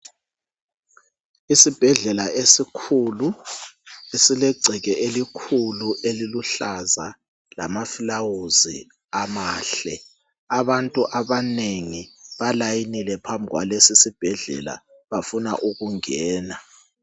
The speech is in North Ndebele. Isibhedlela esikhulu esilegceke elikhulu eliluhlaza lamaflawuzi amahle. Abantu abanengi balayinile phambi kwalesisibhedlela bafuna ukungena.